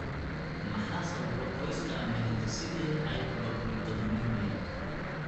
Maxaa sababa qoyska ama hidde-side hypolipoproteinemia?